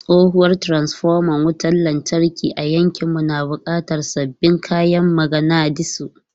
Tsohuwar transfoma wutar lantarki a yankinmu na buƙatar sabbin kayan maganadisu.